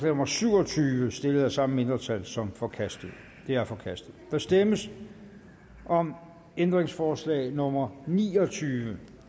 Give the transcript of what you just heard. nummer syv og tyve stillet af det samme mindretal som forkastet det er forkastet der stemmes om ændringsforslag nummer ni og tyve